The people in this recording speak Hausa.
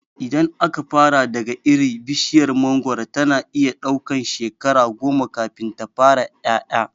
Idan aka fara daga iri, bishiyar mangoro tana iya ɗaukan shekara goma kafin ta fara ƴaƴa.